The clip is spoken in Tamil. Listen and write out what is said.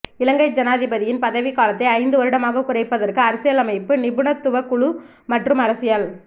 இலங்கை ஜனாதிபதியின் பதவிக் காலத்தை ஐந்து வருடமாக குறைப்பதற்கு அரசியலமைப்பு நிபுணத்துவக் குழு மற்றும் அரசியல்